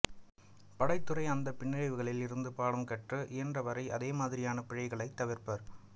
படைத்துறை அந்த பின்னடைவுகளில் இருந்து பாடம் கற்று இயன்றவரை அதேமாதிரியான பிழைகளைத் தவிர்ப்பர்